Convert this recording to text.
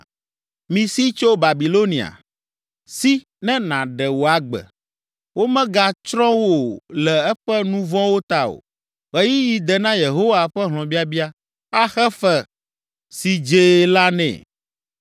“Misi tso Babilonia! Si ne nàɖe wò agbe! Womegatsrɔ̃ wò le eƒe nu vɔ̃wo ta o. Ɣeyiɣi de na Yehowa ƒe hlɔ̃biabia, axe fe si dzee la nɛ.